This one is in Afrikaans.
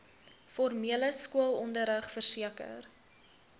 formele skoolonderrig verseker